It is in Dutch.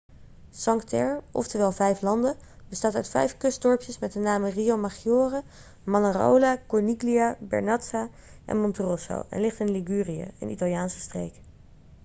cinque terre oftewel vijf landen bestaat uit vijf kustdorpjes met de namen riomaggiore manarola corniglia vernazza en monterosso en ligt in ligurië een italiaanse streek